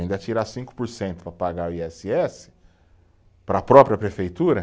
Ainda tirar cinco por cento para pagar o i esse esse, para a própria prefeitura.